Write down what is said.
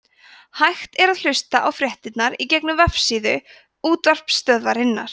hægt er að hlusta á fréttirnar í gegnum vefsíðu útvarpsstöðvarinnar